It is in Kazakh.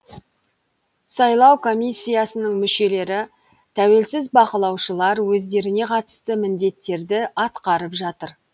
сайлау комиссиясының мүшелері тәуелсіз бақылаушылар өздеріне қатысты міндеттерді атқарып жатыр